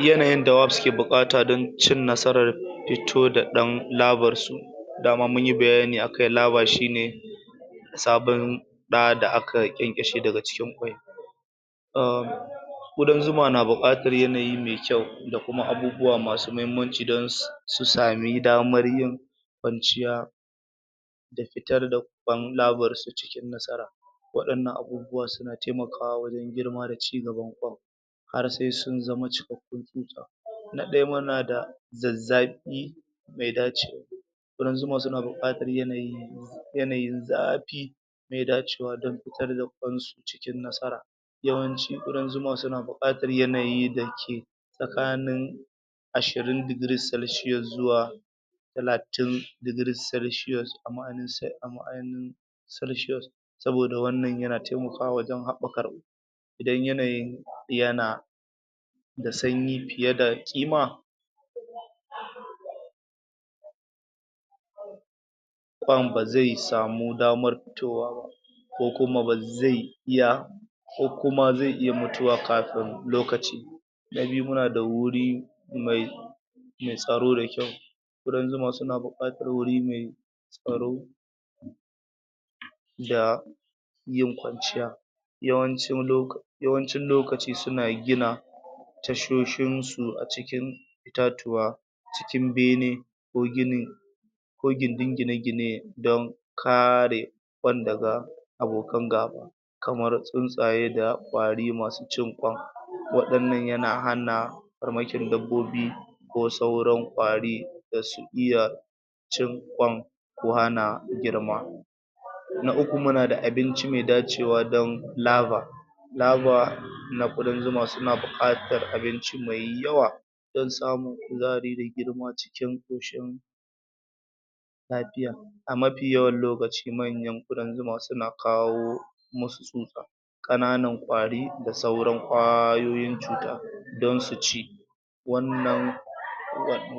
Yanayin da wabs ke buƙata dan cin nasarar fitoda ɗan laver su daman munyi bayani akan laver shine sababn ɗa da aka ƙenƙeshe daga cikin kwai um ƙudan zuma na buƙatar yanayi mai kyau dakuma abubuwa masu mahimmamci susami damar yin kwanciya da fitar da kwan laver su cikin nasara wainan abubuwan suna taimakawa wajan girma da cigaban kwan har sesun zama cikakun kwan na ɗaya munada za zafi mai dacewa ƙudan zuma suna buƙatar yanayi yanayin zafi mai dacewa dan fitar da kwansu cikin nasara yawanci ƙudan zuma suna buƙatar yanayi dake tsakani ashirin degree celsius zuwa talatin degree celsiusn ama celsius saboda wannan yana taimakawa wajan haɓaka idan yanayin yana sanyi fiyeda ƙima kwan bazai samu damar fitowa ba kokuma bazai iya kokuma zai iya mutuwa kafin lokaci na biyumunada wuri mai tsaro da kyau ƙudan zuma suna buƙatar wori mai tsaro da yin kwanciya yawancin loka yawancin lokaci suna gina tashoshinsu acikin itatuwa cikin bene ko ginin ko gindin gine-gine dan kare kwan daga abokan gaba kamar tuntaye da kwari masu cin kwan wainan yana hana farmakin dabobi ko sauran kwari da su iya cin kwan ko hana girma na uku munada abinci mai dacewa dan laver laver na ƙudan zuma suna buƙatar abinci mai yawa dan samu kuzahari da girma cikin ƙushin lafiya amafi yawan lokaci manyan ƙudan zuma suna kawo sasu tsusa ƙananan kwari dasuran kwayoyin cuta dan suci wannan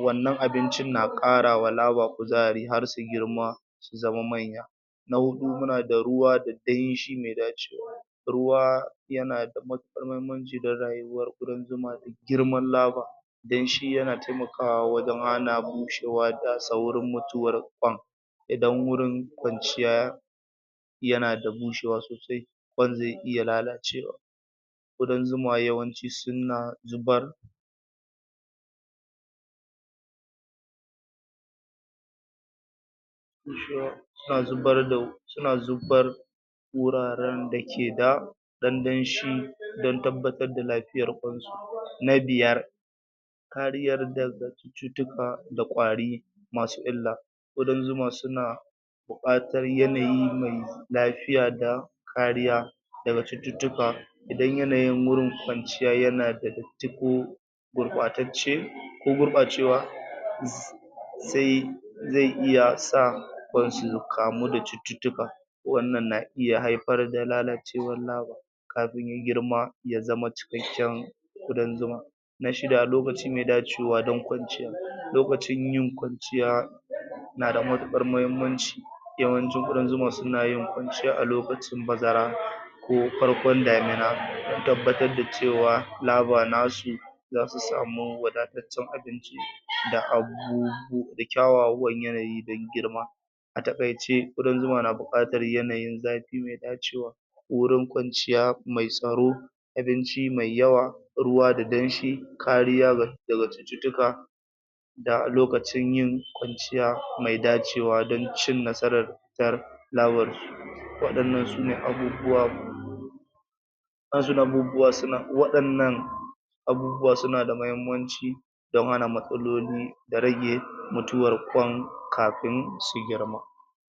wannan abincin na ƙarawa laver kuzahari karsu girma su zama manya na huɗu munada ruwa da danshi mai dacewa ruwa yanada matukar mahimmaci dan rayuwan ƙudan zuma girman laver danshi yana taimakawa wajan hana bushewa da saurin mutuwan kwan idan wurin kwanciya yanada bushewa sosai kwan zai iya lalacewa ƙudan zuma yawanci suna zubar suna zubar da suna zubar wuraran dakeda ɗan danshi dan tabbatar da lafiyan kwan su na biyar kariyar daga cutuka da kwari masu illa ƙudan zuma suna buƙatar yanayi mai lafiya da kariya daga cututuka idan yanayin gurin kwanciya yanada datti ko gurɓatatce ko gurɓacewa um sai zai iya sa kwan su kamu da cututuka wannan na iya haifar da lalacewar laver kafin ya girma ya zama cikaken ƙudan zuma na shida lokaci mai dacewa dan kwanciya lokacin yin kwanciya nada matuƙar mahimmaci yawancin ƙudan zuma sunayin kwanciya a lokacin bazara ko farkon damuna dan tabbatar da cewa laver nasu zasu samu wadatacen abinci da a bubu da kyawawan yanayi dan girma ataƙayce ƙudan zuma na buƙatar yanayi zafi mai dacewa worin kwanciya mai tsaro abinci mai yawa ruwa da danshi kariya daga cututuka da lokacin yin kwanciya mai dacewa dancin nasaran fitar laver su wainan sune abubuwa um suna wainan abubuwa suna da mahimmanci dan hana matsaloli da rage mutuwar kwan kafin su girma